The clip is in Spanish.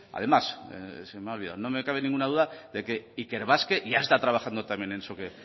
además se me ha olvidado no me cabe ninguna duda de que ikerbasque ya está trabajando también en eso que